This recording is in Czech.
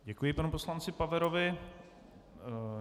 Děkuji panu poslanci Paverovi.